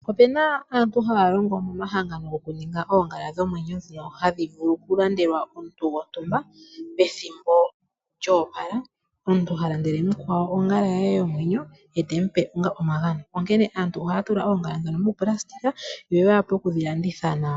Opena aantu haya longo momahangano goku ninga oongala dhomwenyo hadhi vulu okulandelwa omuntu gontumba pethimbo lyoopala. Omuntu temulandele ongala ye yomwenyo ye teyi mupe onga omagano. Ohaya tula ooongala ndhono mo nailona yoya wape kudhi landitha nawa.